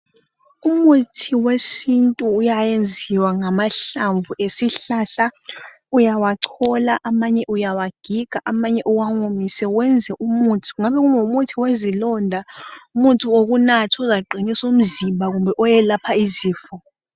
Umuthi wesintu uyayenziwa ngamahlamvu esihlahla uyawachola amanye uyawagiga amanye uwawomise wenze umuthi kungabe kungumuthi wezilonda umuthi wokunatha uzaqinisa umzimba kumbe owelapha izifo